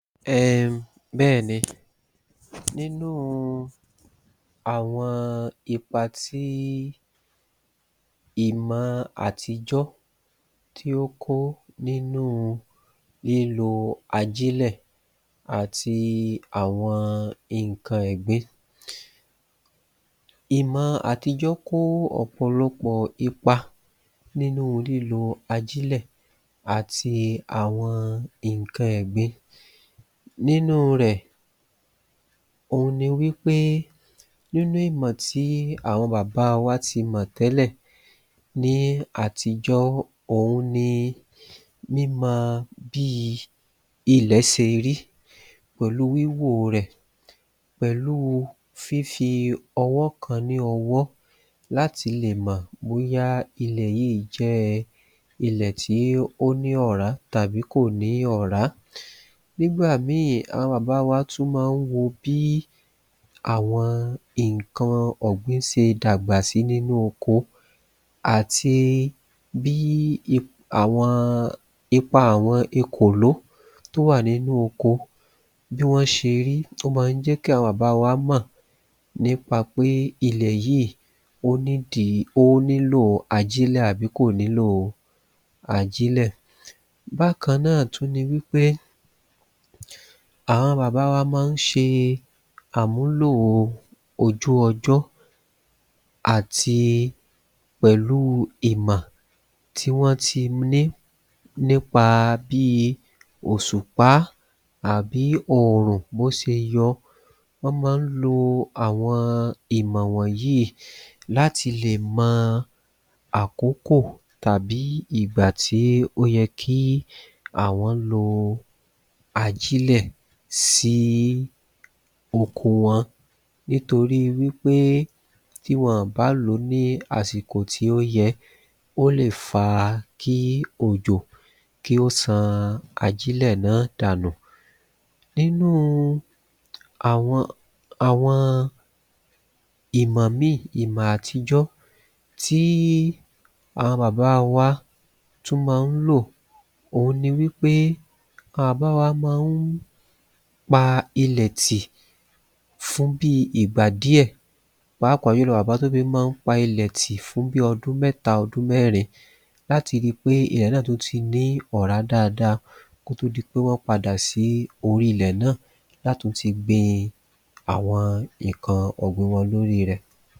um Bẹ́ẹ̀ni, nínúu àwọn ipa tí ìmọ àtijọ́ tí ó kó nínu lílo ajílẹ̀ àti àwọn ǹkan ẹ̀gbin. Ìmọ àtijọ́ kó ọ̀pọ̀lọpọ̀ ipa nínu lílo ajílẹ̀ àti àwọn ǹkan ẹ̀gbin. Nínu rẹ̀, òun ni wípé nínú ìmọ̀ tí àwọn bàbá wa ti mọ̀ tẹ́lẹ̀, ní àtijọ́, òun ni mímọ bíi ilẹ̀ ṣe rí pèlúu wíwòo rẹ̀, pẹ̀lúu fí fi ọwọ́ kan lé ọwọ́ láti le mọ̀ bóyá ilẹ̀ yíì jẹ́ ilẹ̀ tí ó ní ọ̀rá àbí kò ní ọ̀rá, nígbà míì, àwọn bàbá wa má ń tún ma ń wo bí àwọn ǹkan ọ̀gbín ṣe dàgbà sí nínú oko àti bí àwọn, ipa àwọn ekòló tó wà nínú oko, bí wọ́n ṣe rí, ló ma ń jẹ́ kí àwọn bàbá wa mọ̀ nípa pé ilẹ̀ yíì, ó needi, ó nílò ajílẹ̀ àbí kò nílò ajílẹ̀. Bákan náà tún ni wípé, àwọn bàbá wa ma ń ṣe àmúlòo ojú ọjọ́ àti, pẹ̀lúu ìmọ̀ tí wọ́n ti ní nípa bíi òṣùpá àbí òrùn, bó ṣe yọ, wọ́n ma ń lo àwọn ìmọ̀ wọ̀nyí láti lè mọ àkókò àbí ìgbà tí ó yẹ kí àwọn lo ajílẹ̀ sí oko wọ́n, nítoríi wípé tí wọn ò bá lòó ní àsìkò tí ó yẹ, ó lè fa kí òjò, kí ó ṣan ajílẹ̀ náà dànù. Nínúu àwọn ìmọ̀ míì, ìmọ̀ atijọ́ tí àwọn bàbá wa tún má ń lò, òun ni wípé, àwọn bàbá wa ma ń pa ilẹ̀ tì fún bi ìgbà díẹ̀ pàápàá, pa ilẹ̀ tì fún bi ọdún mẹ́ta, ọdún mẹ́rin, láti ríi pé ilẹ̀ náà tún ti ní ọ̀rá dada, ko tó di pé wọ́n padà sí orí ilẹ̀ náà, láti tún ti gbin àwọn ǹkan ọ̀gbin wọn lóri ilè.